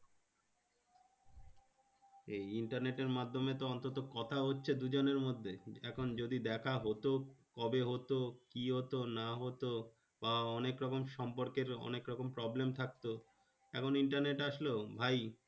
এই internet এর মাধ্যমে তো অন্তত কথা হচ্ছে দুজনের মধ্যে। এখন যদি দেখা হতো, কবে হতো? কি হতো না হতো? বা অনেকরকম সম্পর্কের অনেকরকম problem থাকতো। এখন internet আসলো ভাই